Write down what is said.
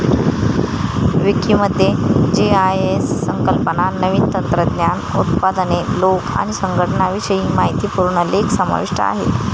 विकी मध्ये जीआयएस संकल्पना, नवीन तंत्रंज्ञान, उत्पादने, लोक आणि संघटनांविषयी माहितीपूर्ण लेख समाविष्ट आहेत.